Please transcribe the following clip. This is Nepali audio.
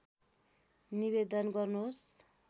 निवेदन गर्नुहोस्